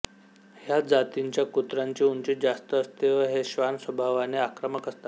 ह्या जातींच्या कुत्र्यांची उंची जास्त असते व हे श्वान स्वभावाने आक्रमक असतात